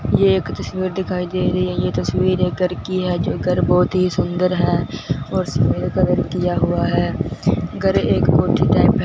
ये एक तस्वीर दिखाई दे रही है ये तस्वीर एक घर की है जो घर बहुत ही सुंदर है और इसमें कलर किया हुआ है घर एक कोठी टाइप है।